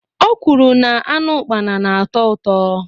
Ọ kwuru na anụ ukpana na-atọ uto